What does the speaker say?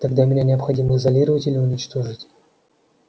тогда меня необходимо изолировать или уничтожить